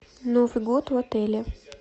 новый год в отеле